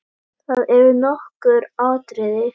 Það eru nokkur atriði.